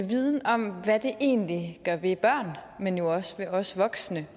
viden om hvad det egentlig gør ved børn men jo også ved os voksne